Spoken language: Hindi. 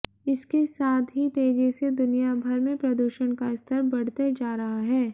इसके साथ ही तेजी से दुनिया भर में प्रदूषण का स्तर बढ़ते जा रहा है